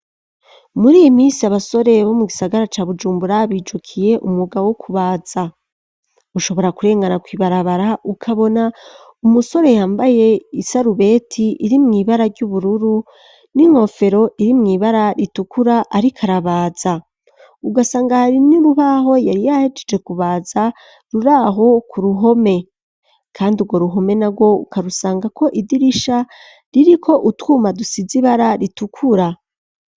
Muri iyi minsi, abasore bo mu gisagara ca Bujumbura, bijukiye umwuga wo kubaza, ushobora kurengana kw'ibarabara ukabona umusore yambaye isarubeti irimw'ibara ry'ubururu, n'inkofero iri mw'ibara ritukura ariko arabaza, ugasanga hari n'urubaho yari yahejeje kubaza, ruri aho ku ruhome, kandi urwo ruhome narwo, ukarusangako idirisha ririko utwuma dusize ibara ritukura.